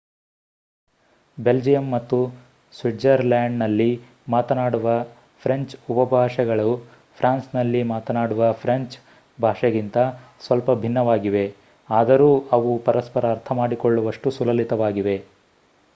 Belgium ಮತ್ತು ಸ್ವಿಟ್ಜರ್‌ಲ್ಯಾಂಡ್‌ನಲ್ಲಿ ಮಾತನಾಡುವ ಫ್ರೆಂಚ್ ಉಪಭಾಷೆಗಳು ಫ್ರಾನ್ಸ್‌ನಲ್ಲಿ ಮಾತನಾಡುವ ಫ್ರೆಂಚ್ ಭಾಷೆಗಿಂತ ಸ್ವಲ್ಪ ಭಿನ್ನವಾಗಿವೆ ಆದರೂ ಅವು ಪರಸ್ಪರ ಅರ್ಥಮಾಡಿಕೊಳ್ಳುವಷ್ಟು ಸುಲಲಿತವಾಗಿವೆ